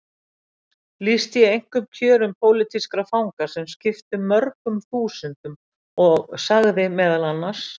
Lýsti ég einkum kjörum pólitískra fanga sem skiptu mörgum þúsundum og sagði meðal annars